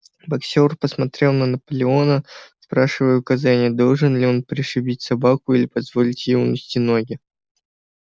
боксёр посмотрел на наполеона спрашивая указания должен ли он пришибить собаку или позволить ей унести ноги